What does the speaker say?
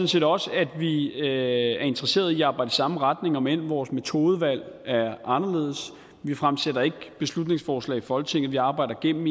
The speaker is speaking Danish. set også at vi er interesseret i at arbejde i samme retning omend vores metodevalg er anderledes vi fremsætter ikke beslutningsforslag i folketinget vi arbejder gennem